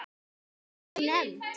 Var hún nefnd